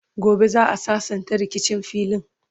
gobe za'a sassanta rikicin filin